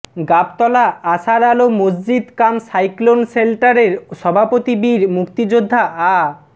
গাবতলা আশার আলো মসজিদ কাম সাইক্লোন শেল্টারের সভাপতি বীর মুক্তিযোদ্ধা আ